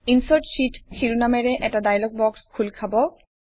insert sheet শিৰোনামেৰে এটা dialog box খোল খাব